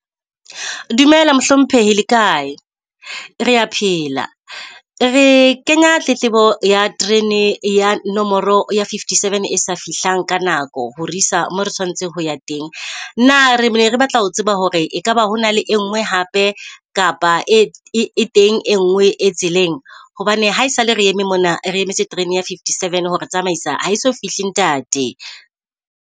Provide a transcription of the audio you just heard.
Dumela mohlomphehi le kae? Rea phela. Re kenya tletlebo ya terene ya nomoro ya fifty seven e sa fihlang ka nako ho re isa moo re tshwanetse ho ya teng. Na re ne re batla ho tseba hore ekaba ho na le engwe hape kapa e teng e ngwe e tseleng. Hobane hae sale re eme mona re emetse terene ya fifty seven hore tsamaisa ha eso fihle ntate.